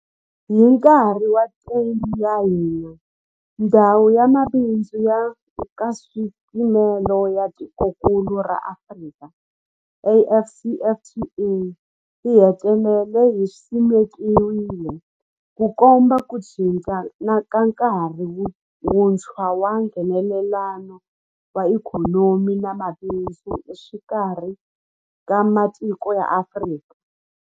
Hi nkarhi wa theme ya hina, Ndhawu ya Mabindzu ya Nkaswipimelo ya Tikokulu ra Afrika, AfCFTA, yi hetelele yi simekiwile, Ku komba ku cinca ka nkarhi wuntshwa wa Nghenelelano wa ikhonomi na mabindzu exikarhi ka matiko ya Afrika.